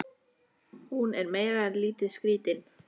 Hún er meira en lítið skrítin.